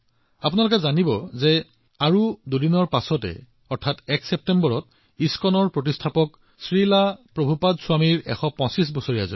আপুনি জানেনে মাত্ৰ দুদিন পিছত ১ ছেপ্টেম্বৰত ইস্কনৰ প্ৰতিষ্ঠাপক শ্ৰীল প্ৰভুপদ স্বামীজীৰ ১২৫তম জন্ম জয়ন্তী